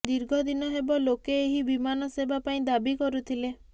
ଦୀର୍ଘ ଦିନ ହେବ ଲୋକେ ଏହି ବିମାନ ସେବା ପାଇଁ ଦାବି କରୁଥିଲେ